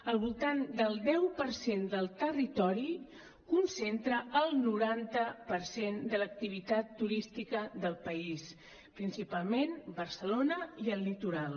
al voltant del deu per cent del territori concentra el noranta per cent de l’activitat turística del país principalment barcelona i el litoral